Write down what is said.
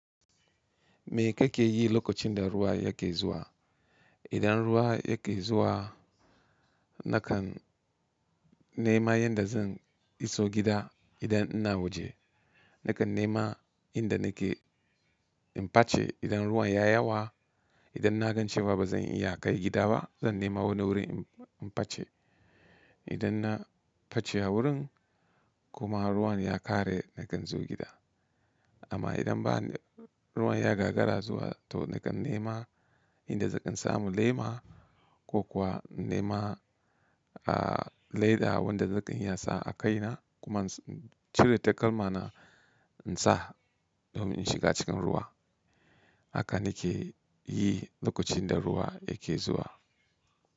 Me kake yi lokacin da ruwa yake zuwa? Idan ruwa yake zuwa, nakan nema yanda zan iso gida idan ina waje. Nakan nema inda nake in face idan ruwan ya yawa. Idan na ga cewa ba zan iya kai gida ba, zan nema wani wurin in face. Idan na face a wurin kuma ruwan ya ƙare nakan zo gida. Amma idan ba ruwan ya gagara zuwa to nakan nema inda zan ɗan samu lema ko kuwa in nema a leda wanda nakan iyansa a kai na kuma in cire takalma na in sa domin in shiga cikin ruwa. Haka nake yi lokacin da ruwa yake zuwa.